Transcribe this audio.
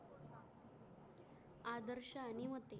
आदर्शांनी होते